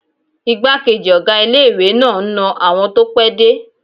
Igbákejì ọ̀gá ilé-ìwé náà n na àwọn tó pẹ́ dé